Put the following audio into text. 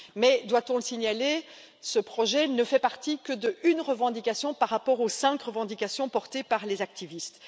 Mais, doit on le signaler, ce projet ne fait partie que d'une revendication par rapport aux cinq revendications portées par les activistes.